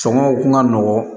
Sɔngɔw kun ka nɔgɔn